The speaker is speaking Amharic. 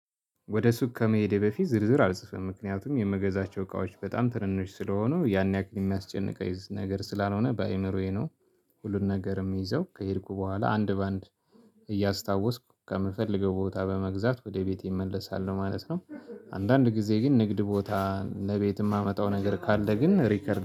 ወደ ሱቅ ከመሄዴ በፊት ዝርዝር አልጽፈም ምክንያቱም የምገዛቸው እቃዎች በጣም ትንንሽ ስለሆኑ ያን ያክል የሚያስጨንቀኝ ነገር ስላልሆነ በአእምሮዬ ነው። ሁሉን ነገር የምይዘው ከሄድኩ በኋላ አንድ በአንድ እያስታወስኩ ከምፈልገው ቦታ በመግዛት ወደ ቤቴ እመለሳለሁ ማለት ነው። አንዳንድ ጊዜ ግን ንግድ ቦታ ለቤት የማመጣው ነገር ካለ ግን ሪከርድ